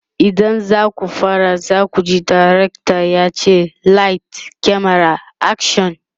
idan zaku fara zakuji dirctor yace "light, camera, action!"